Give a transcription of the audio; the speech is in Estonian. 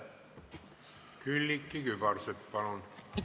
Külliki Kübarsepp, palun!